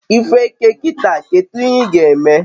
ifu eke kita, kedu ihe ga eme?